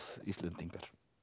Íslendingar